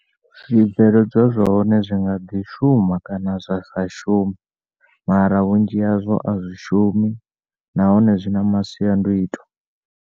Zwibveledzwa zwa hone zwi nga ḓi shuma kana zwa sa shume mara vhunzhi hazwo a zwi shumi nahnoe zwi na masiandoitwa.